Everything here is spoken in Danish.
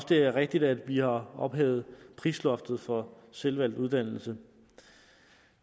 det er rigtigt at vi har ophævet prisloftet for selvvalgt uddannelse